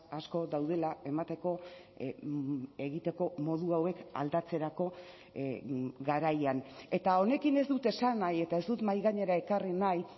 asko daudela emateko egiteko modu hauek aldatzerako garaian eta honekin ez dut esan nahi eta ez dut mahaigainera ekarri nahi